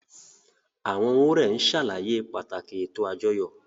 Àwọn wúrẹ́n ń ṣàlàyé pàtàkì ètò àjọyọ̀